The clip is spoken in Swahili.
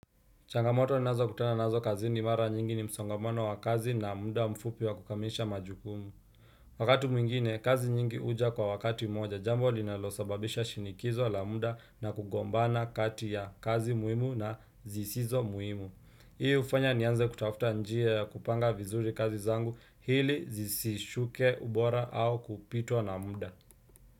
Changamoto ninazokutana nazo kazini mara nyingi ni msongamano wa kazi na muda mfupi wa kukamilisha majukumu. Wakati mwingine, kazi nyingi huja kwa wakati mmoja, jambo linalosababisha shinikizo la muda na kugombana kati ya kazi muhimu na zisizo muhimu. Hii hufanya nianze kutafuta njia ya kupanga vizuri kazi zangu ili zisishuke ubora au kupitwa na muda.